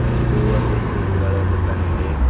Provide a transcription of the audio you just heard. ಇದು ಒಂದು ಫ್ರಿಡ್ಜ್ ಗಳ ದೂಖಾನ್ ಇದೆ.